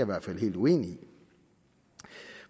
hvert fald helt uenig i